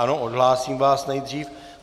Ano, odhlásím vás nejdřív.